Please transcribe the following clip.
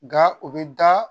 Nka o bɛ da